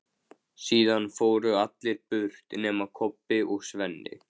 Síðan fóru allir burt nema Kobbi og Svenni.